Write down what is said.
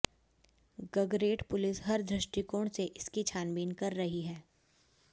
Gagret police हर दृष्टिकोण से इसकी छानबीन कर रही है